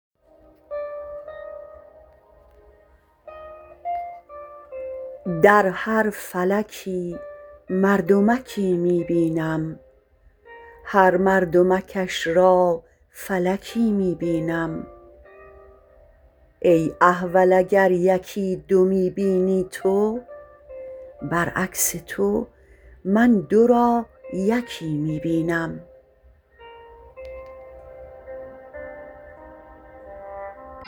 در هر فلکی مردمکی می بینم هر مردمکش را فلکی می بینم ای احول اگر یکی دو می بینی تو بر عکس تو من دو را یکی می بینم